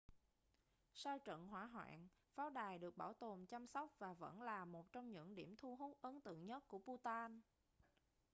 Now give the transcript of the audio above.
sau trận hỏa hoạn pháo đài được bảo tồn chăm sóc và vẫn là một trong những điểm thu hút ấn tượng nhất của bhutan